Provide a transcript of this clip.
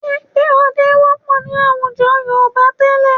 Ẹgbẹ́ ọdẹ wọ́pọ̀ ní àwùjọ Yorùbá tẹ́lẹ̀